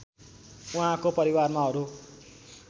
उहाँको परिवारमा अरु